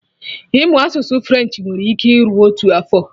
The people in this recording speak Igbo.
Ịmụ asụsụ French nwere ike iru otu afọ